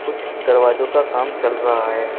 कुछ दरवाजो का काम चल रहा है।